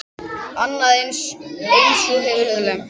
Annað eins hefur gerst.